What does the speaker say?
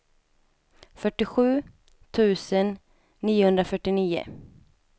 fyrtiosju tusen niohundrafyrtionio